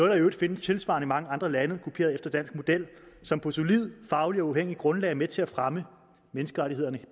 der i øvrigt findes tilsvarende i mange andre lande kopieret efter dansk model som på et solidt og fagligt uafhængigt grundlag er med til at fremme menneskerettighederne